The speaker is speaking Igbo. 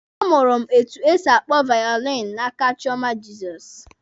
A mụrụ m etu e si akpọ vaolini n'aka Chioma Jizọs.